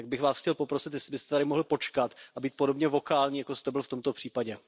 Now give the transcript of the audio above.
Tak bych Vás chtěl poprosit, jestli byste tady mohl počkat a být podobně vokální, jako jste byl v tomto případě.